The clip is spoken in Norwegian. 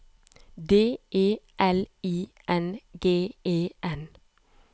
D E L I N G E N